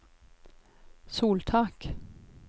soltak